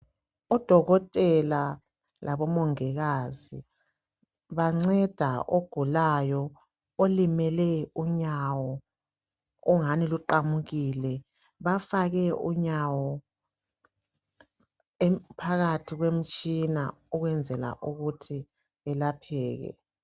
Odokotela labo mongikazi banceda ogulayo olimele unyawo ongani luqamukile bafake unyawo phakathi kwemtshina ukwenzela ukuthi elapheke.